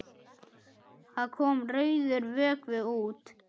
Það kom rauður vökvi út.